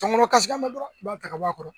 Tɔngɔnɔ kasikan mɛn dɔrɔn i b'a ta ka bɔ a kɔrɔ